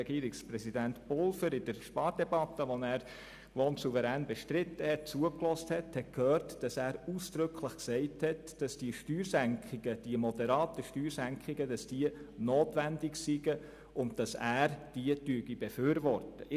Regierungspräsident Pulver hat gestern ausdrücklich in der Spardebatte gesagt, die er übrigens souverän bestritten hat, die moderaten Steuersenkungen seien notwendig und er befürworte sie.